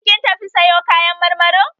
Shin kin tafi sayo kayan marmari?